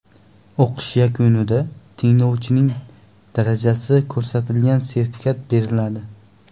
O‘qish yakunida tinglovchining darajasi ko‘rsatilgan sertifikat beriladi.